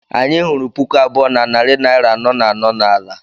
Anyị hụrụ puku abụọ na narị naira anọ na anọ n'ala.